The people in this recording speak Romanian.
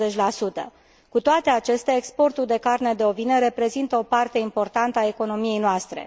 40 Cu toate acestea, exportul de carne de ovine reprezintă o parte importantă a economiei noastre.